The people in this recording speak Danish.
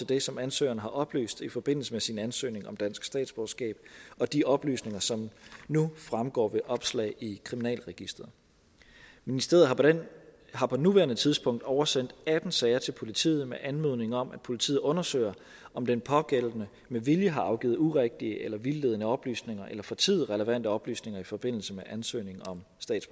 det som ansøgeren har oplyst i forbindelse med sin ansøgning om dansk statsborgerskab og de oplysninger som nu fremgår ved opslag i kriminalregisteret ministeriet har på nuværende tidspunkt oversendt atten sager til politiet med anmodning om at politiet undersøger om den pågældende med vilje har afgivet urigtige eller vildledende oplysninger eller fortiet relevante oplysninger i forbindelse med ansøgning om